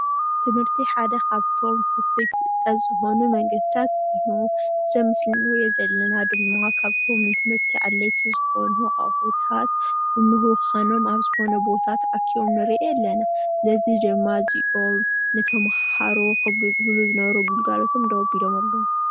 ትምህርቲ ሓደ ካብቶም ፍልፍል ፍልጠት ዝኮኑ መንገድታት ኮይኑ እዚ ኣብ ምስሊ ንሪኦ ዘለና ድማ ካብቶም ንትምህርቲ ኣድለይቲ ዝኮኑ ኣቁሕታት ምካኖም ኣብ ዝኮነ ቦታ ተኣኪቦም ንሪኦም ኣለና ነዚ ድማ እዚኦም ንተምሃሮ ከገልግሉ ዝነበሩ ግልጋሎት ደው ኣቢሎም ኣለዉ::